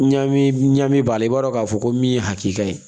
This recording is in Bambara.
Ɲa min ɲa min b'a la i b'a dɔn k'a fɔ ko min ye hakili ka ye